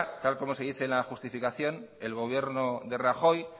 tal como se dice en la justificación el gobierno de rajoy